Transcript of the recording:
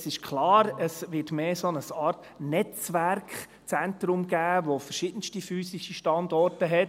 Es ist klar, es wird eher eine Art Netzwerkzentrum mit verschiedensten physischen Standorten geben.